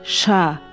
Şa.